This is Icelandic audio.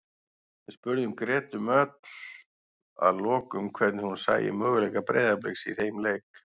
Við spurðum Gretu Mjöll að lokum hvernig hún sæi möguleika Breiðabliks í þeim leik.